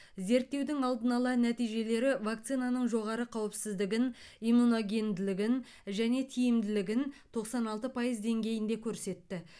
зерттеудің алдын ала нәтижелері вакцинаның жоғары қауіпсіздігін иммуногенділігін және тиімділігін тоқсан алты пайыз деңгейінде көрсетті